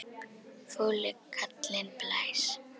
Fúli kallinn blæs.